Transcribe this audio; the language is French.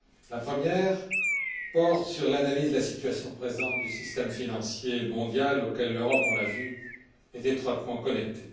La première porte sur l'analyse de la situation présente du système financier mondial auquel l'Europe, on l'a vu, est étroitement connectée.